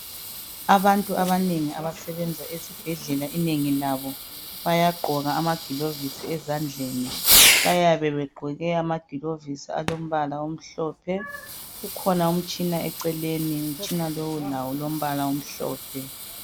Abantu abanengi abasebenza esibhedlela inengi labo baya gqoka ama gilovisi ezandleni bayabe begqoke amagilovisi alombala omhlophe, kukhona umtshina eceleni ,umtshina lowu lawo ulombala omhlophe.